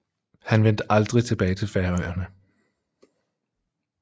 Han vendte aldrig tilbage til Færøerne